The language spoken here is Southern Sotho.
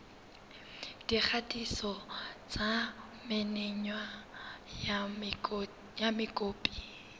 dikgatiso tsa menwana ya mokopi